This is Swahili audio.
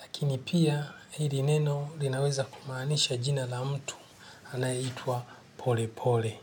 Lakini pia hili neno linaweza kumaanisha jina la mtu anayeitwa pole pole.